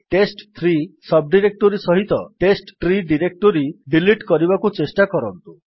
ଟେଷ୍ଟ3 sub directory ସହିତ test tree directory delete କରିବାକୁ ଚେଷ୍ଟା କରନ୍ତୁ